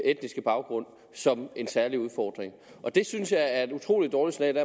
etniske baggrund som en særlig udfordring og det synes jeg er et utrolig dårligt signal